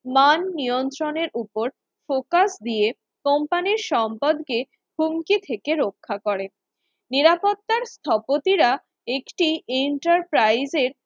মান নিয়ন্ত্রণের ওপর Focus দিয়ে company র সম্পদকে কুণ্ঠি থেকে রক্ষা করে, নিরাপত্তা স্থপতিরা একটি Enterprise এর